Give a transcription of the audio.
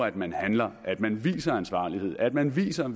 at man handler at man viser ansvarlighed at man viser at